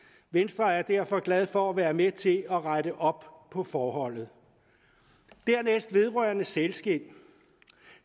venstre er derfor glade for at være med til at rette op på forholdet dernæst vedrørende sælskind